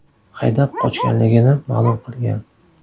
haydab qochganligini ma’lum qilgan.